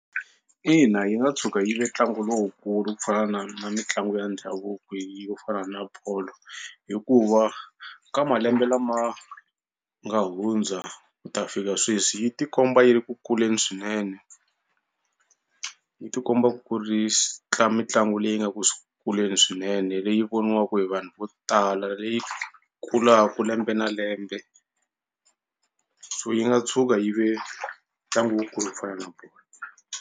Ina yi nga tshuka yi ve ntlangu lowukulu ku fana na na mitlangu ya ndhavuko yo fana na bolo hikuva ka malembe lama nga hundza ku ta fika sweswi yi ti komba yi ri ku kuleni swinene. Yi ti komba ku ri mitlangu leyi nga ku kuleni swinene leyi voniwaka hi vanhu vo tala leyi kulaka lembe na lembe so yi nga tshuka yi ve ntlangu wu kulu ku fana na bolo.